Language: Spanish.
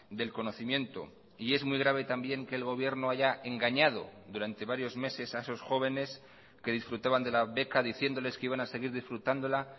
del conocimiento y es muy grave también que el gobierno haya engañado durante varios meses a esos jóvenes que disfrutaban de la beca diciéndoles que iban a seguir disfrutándola